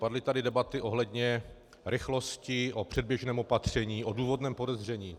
Padly tady debaty ohledně rychlosti, o předběžném opatření, o důvodném podezření.